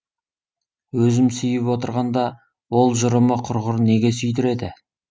өзім сүйіп отырғанда ол жұрымы құрғыр неге сүйдіреді